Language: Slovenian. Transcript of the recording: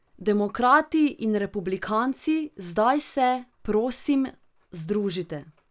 Demokrati in republikanci, zdaj se, prosim, združite.